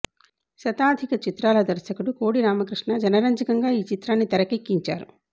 శతాధిక చిత్రాల దర్శకుడు కోడి రామకృష్ణ జనరంజకంగా ఈ చిత్రాన్ని తెరకెక్కించారు